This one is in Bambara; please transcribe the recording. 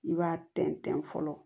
I b'a tɛntɛn fɔlɔ